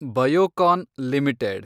Biocon limited